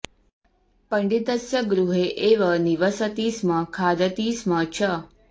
पण्डितस्य गृहे एव निवसति स्म खादति स्म च